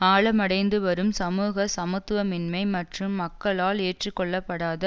ஆழமடைந்துவரும் சமூக சமத்துவின்மை மற்றும் மக்களால் ஏற்றுக்கொள்ளப்படாத